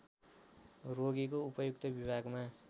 रोगीको उपयुक्त विभागमा